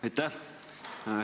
Aitäh!